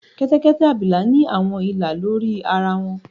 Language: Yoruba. kẹtẹkẹtẹ abila ni awọn ila lori ara wọn.